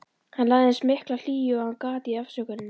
Hann lagði eins mikla hlýju og hann gat í afsökunina.